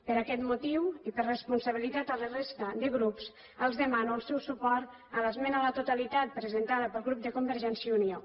per aquest motiu i per responsabilitat a la resta de grups els demano el seu suport a l’esmena a la totalitat presentada pel grup de convergència i unió